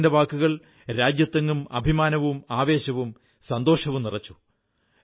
അദ്ദേഹത്തിന്റെ വാക്കുകൾ രാജ്യത്തെങ്ങും അഭിമാനവും ആവേശവും സന്തോഷവും നിറച്ചു